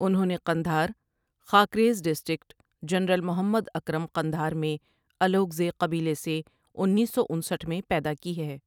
انہوں نے Kandahar, Khakrez district general Mohammad Akram Kandahar میں الوکہزے قبیلہ سے انیس سو انسٹھ میں پیدا کی ہے ۔